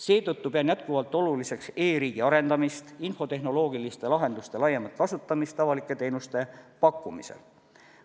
Seetõttu pean jätkuvalt oluliseks e-riigi arendamist, infotehnoloogiliste lahenduste laiemat kasutamist avalike teenuste pakkumisel.